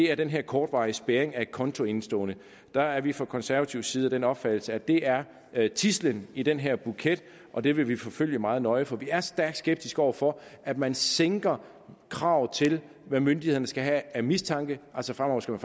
er den her kortvarige spærring af et kontoindestående der er vi fra konservativ side af den opfattelse at det er tidslen i den her buket og det vil vi forfølge meget nøje for vi er stærkt skeptiske over for at man sænker kravet til hvad myndighederne skal have af mistanke altså fremover skal